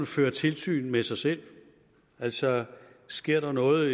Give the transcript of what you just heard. fører tilsyn med sig selv altså sker der noget